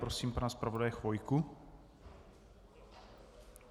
Prosím pana zpravodaje Chvojku.